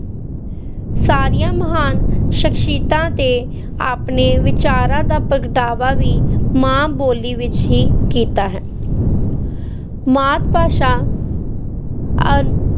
ਸਾਰੀਆਂ ਮਹਾਨ ਸਖ਼ਸ਼ੀਅਤਾਂ ਤੇ ਆਪਣੇ ਵਿਚਾਰਾਂ ਦਾ ਪ੍ਰਗਟਾਵਾ ਵੀ ਮਾਂ-ਬੋਲੀ ਵਿੱਚ ਹੀ ਕੀਤਾ ਹੈ ਮਾਤ-ਭਾਸ਼ਾ ਅ~